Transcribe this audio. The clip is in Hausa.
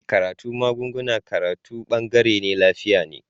Karatun magunguna karatu bangaren lafiya ne